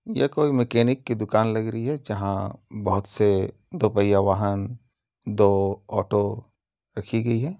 ये कोई मेकेनिक की दुकान लग रही है। जहाँ बहुत से दो पहिया वाहन दो ओटो रखी गई है।